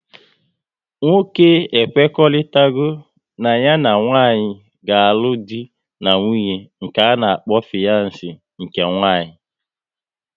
Nwoke e kwekoritarago na ya na nwanyị ga-alụ dị na nwunye ka ana-akpọ fiyans nke nwanyị